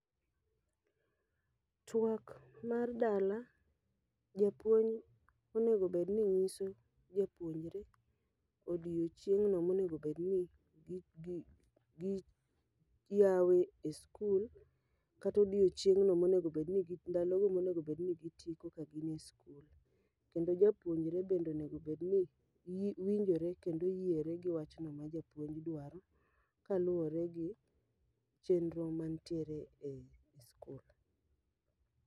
Twak mar dala, jopuony onego bedni nyiso jopuonjre odiochineng'no monegobedni gi gi gi yawe e skul. Kata odieochieng'no moengobedni ndalo no monegobedni gitieko ka gin e skul. Kendo japuonjre bende onegobedni winjore kendo yiere gi wachno ma japuonj dwaro, ka luwore gi chenro mantiere ei skul.